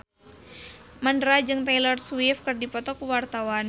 Mandra jeung Taylor Swift keur dipoto ku wartawan